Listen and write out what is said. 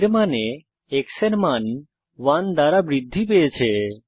এর মানে x এর মান 1 দ্বারা বৃদ্ধি পেয়েছে